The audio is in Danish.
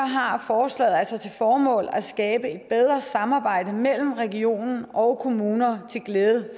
har forslaget altså til formål at skabe et bedre samarbejde mellem region og kommuner til glæde